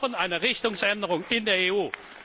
Wir brauchen eine Richtungsänderung in der